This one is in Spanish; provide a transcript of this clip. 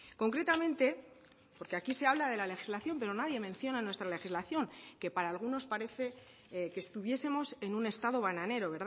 concretamente porque aquí se habla de la legislación pero nadie menciona nuestra legislación que para algunos parece que estuviesemos en un estado bananero